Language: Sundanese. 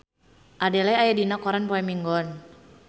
Adele aya dina koran poe Minggon